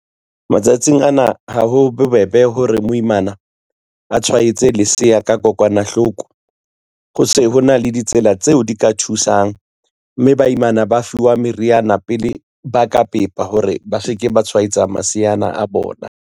Matsatsing ana ha ho bobebe hore moimana, a tshwaetse lesea ka kokwanahloko. Ho se ho na le ditsela tseo di ka thusang, mme baimana ba fiwa meriana pele ba ka pepa hore ba se ke ba tshwaetsa maseana a bona.